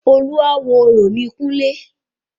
Olúawo orò ni kúnlé